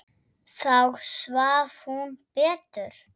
Þá svaf hún betur.